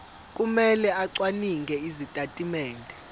kumele acwaninge izitatimende